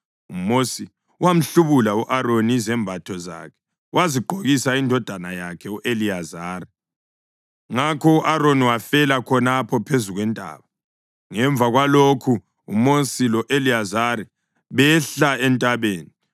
UMosi wamhlubula u-Aroni izembatho zakhe wazigqokisa indodana yakhe u-Eliyazari. Ngakho u-Aroni wafela khonapho phezu kwentaba. Ngemva kwalokhu uMosi lo-Eliyazari behla entabeni,